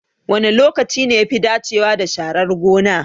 Wane lokaci ne yafi dacewa da sharar gona?